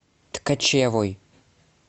ткачевой